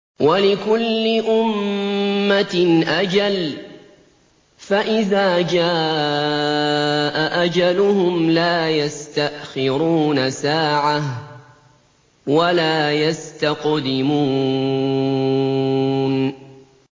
وَلِكُلِّ أُمَّةٍ أَجَلٌ ۖ فَإِذَا جَاءَ أَجَلُهُمْ لَا يَسْتَأْخِرُونَ سَاعَةً ۖ وَلَا يَسْتَقْدِمُونَ